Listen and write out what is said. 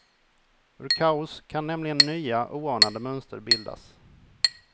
Ur kaos kan nämligen nya, oanade mönster bildas.